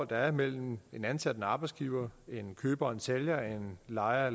der er mellem en ansat og en arbejdsgiver en køber og en sælger en lejer